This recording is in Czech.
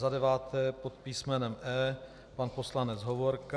Za deváté pod písmenem E, pan poslanec Hovorka.